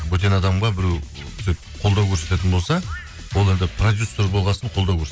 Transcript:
бөтен адамға біреу сөйтіп қолдау көрсететін болса ол енді продюсер болған соң қолдау